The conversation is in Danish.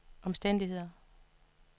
omstændigheder